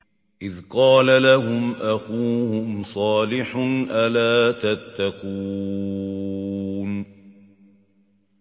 إِذْ قَالَ لَهُمْ أَخُوهُمْ صَالِحٌ أَلَا تَتَّقُونَ